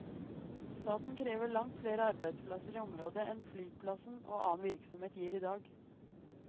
Staten krever langt flere arbeidsplasser i området enn flyplassen og annen virksomhet gir i dag.